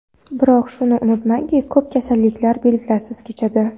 Biroq shuni unutmangki, ko‘p kasalliklar belgilarsiz kechadi.